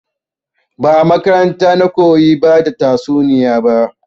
Ba a makaranta na koyi bada tatsuniya ba